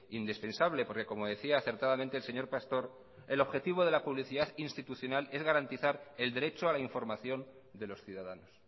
indispensable porque como decía acertadamente el señor pastor el objetivo de la publicidad institucional es garantizar el derecho a la información de los ciudadanos